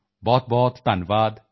ਬਹੁਤਬਹੁਤ ਧੰਨਵਾਦ